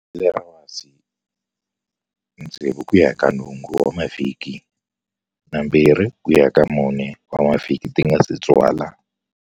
Vele ra wasi, 6-8 wa mavhiki na 2-4 wa mavhiki ti nga si tswala.